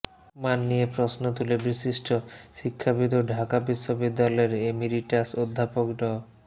মান নিয়ে প্রশ্ন তুলে বিশিষ্ট শিক্ষাবিদ ও ঢাকা বিশ্ববিদ্যালয়ের এমিরিটাস অধ্যাপক ড